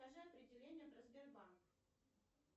скажи определение про сбербанк